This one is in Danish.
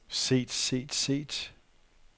set set set